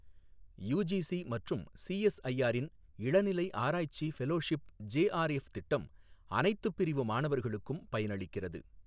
UGC மற்றும் CSIR ன் இளநிலை ஆராய்ச்சி ஃபெலோஷிப் ஜேஆர்எஃப் திட்டம் அனைத்துப் பிரிவு மாணவர்களுக்கும் பயனளிக்கிறது.